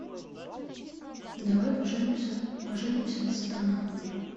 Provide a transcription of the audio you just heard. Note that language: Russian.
давай поженимся сатана